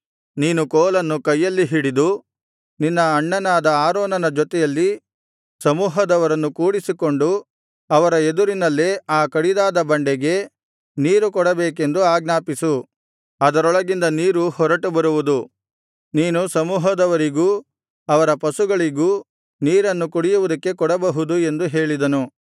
ನೀನು ಕೋಲನ್ನು ಕೈಯಲ್ಲಿ ಹಿಡಿದು ನಿನ್ನ ಅಣ್ಣನಾದ ಆರೋನನ ಜೊತೆಯಲ್ಲಿ ಸಮೂಹದವರನ್ನು ಕೂಡಿಸಿಕೊಂಡು ಅವರ ಎದುರಿನಲ್ಲೇ ಆ ಕಡಿದಾದ ಬಂಡೆಗೆ ನೀರುಕೊಡಬೇಕೆಂದು ಆಜ್ಞಾಪಿಸು ಅದರೊಳಗಿಂದ ನೀರು ಹೊರಟುಬರುವುದು ನೀನು ಸಮೂಹದವರಿಗೂ ಅವರ ಪಶುಗಳಿಗೂ ನೀರನ್ನು ಕುಡಿಯುವುದಕ್ಕೆ ಕೊಡಬಹುದು ಎಂದು ಹೇಳಿದನು